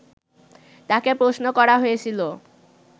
তাকে প্রশ্ন করা হয়েছিল